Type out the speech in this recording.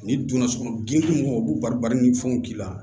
Ni donna sogo dungɔ b'u bari bari ni fɛnw k'i la